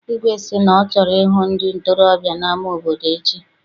Igwe sị na ọ chọrọ ịhụ ndị ntorobịa n'ama obodo echi.